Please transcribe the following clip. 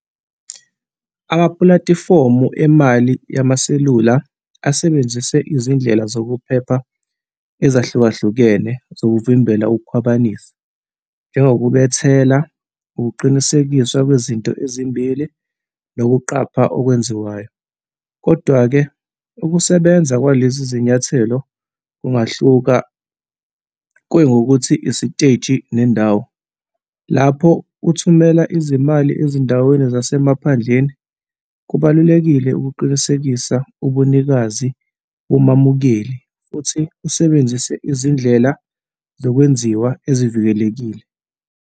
Amapulatifomu emali yamaselula asebenzise izindlela zokuphepha ezahlukahlukene zokuvimbela ukukhwabanisa, njengokubethela, ukuqinisekiswa kwezinto ezimbili nokuqapha okwenziwayo. Kodwa-ke, ukusebenza kwalezi izinyathelo kungahlukana, kuye ngokuthi, isiteji nendawo. Lapho uthumela izimali ezindaweni zasemaphandleni, kubalulekile ukuqinisekisa ubunikazi bomamukeli futhi usebenzise izindlela zokwenziwa ezivikelekile.